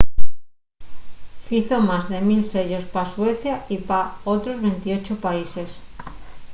fizo más de 1 000 sellos pa suecia y pa otros 28 países